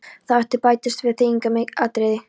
Þá bætist og við annað þýðingarmikið atriði.